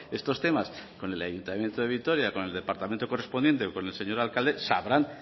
estos temas con el ayuntamiento de vitoria con el departamento correspondiente o con el señor alcalde sabrán